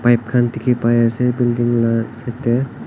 bike khan dekhe bai ase buliding la side de.